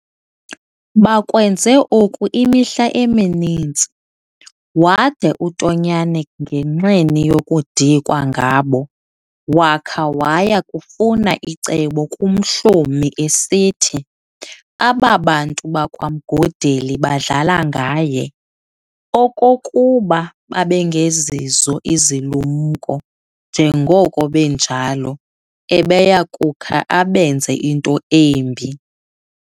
Bakwenze oku imihla emininzi, wada uTonyane ngenxeni yokudikwa ngabo, wakha waya kufuna icebo kuMhlomi esithi, aba bantu bakwaMgodeli badlala ngaye, okokuba babengezizo izilumko, njengoko benjalo, ubeya kukha abenze into embi.